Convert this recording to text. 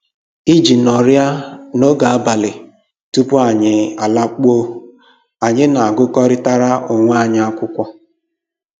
Iji nọrịa n'oge abalị tupu anyị alakpuo, anyị na-agụkọrịtara onwe anyị akwụkwọ